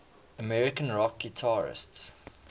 american rock guitarists